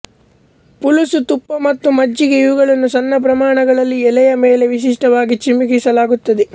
ಪುಲುಸು ತುಪ್ಪ ಮತ್ತು ಮಜ್ಜಿಗೆ ಇವುಗಳನ್ನು ಸಣ್ಣ ಪ್ರಮಾಣಗಳಲ್ಲಿ ಎಲೆಯ ಮೇಲೆ ವಿಶಿಷ್ಟವಾಗಿ ಚಿಮುಕಿಸಲಾಗುತ್ತದೆ